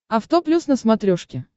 авто плюс на смотрешке